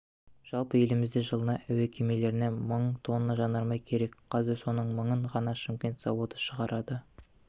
жалпы елімізде жылына әуе кемелеріне мың тонна жанармай керек қазір соның мыңын ғана шымкент заводы шығарады